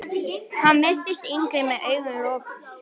Hann virtist yngri með augun lokuð.